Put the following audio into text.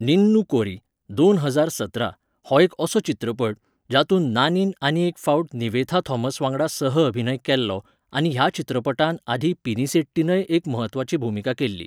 निन्नू कोरी, दोन हजार सतरा, हो एक असो चित्रपट, जातूंत नानीन आनीक एक फावट निवेथा थॉमस वांगडा सह अभिनय केल्लो, आनी ह्या चित्रपटांत आधी पिनिसेट्टीनय एक म्हत्वाची भुमिका केल्ली.